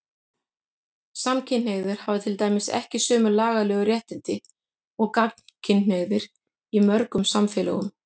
Samkynhneigðir hafa til dæmis ekki haft sömu lagalegu réttindi og gagnkynhneigðir í mörgum samfélögum.